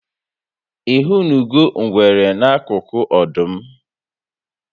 Ihụnụgo ngwere n'akụkụ ọdụm?